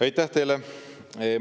Aitäh teile!